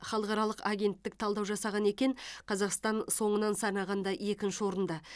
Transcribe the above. халықаралық агенттік талдау жасаған екен қазақстан соңынан санағанда екінші орында